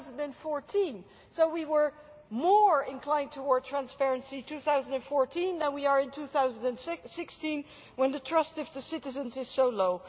2014. So we were more inclined towards transparency in 2014 than we are in 2016 when the trust of citizens is so low.